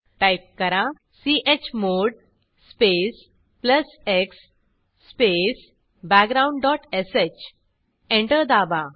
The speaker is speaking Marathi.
टाईप करा chmod space plus x space background dot sh enter दाबा